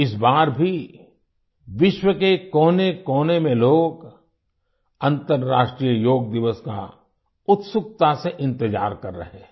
इस बार भी विश्व के कोनेकोने में लोग अंतर्राष्ट्रीय योग दिवस का उत्सुकता से इंतजार कर रहे हैं